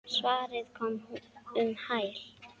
Svarið kom um hæl.